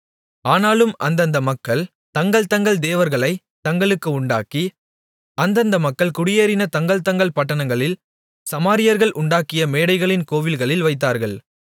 ஆனாலும் அந்தந்த மக்கள் தங்கள் தங்கள் தேவர்களைத் தங்களுக்கு உண்டாக்கி அந்தந்த மக்கள் குடியேறின தங்கள் தங்கள் பட்டணங்களில் சமாரியர்கள் உண்டாக்கிய மேடைகளின் கோவில்களில் வைத்தார்கள்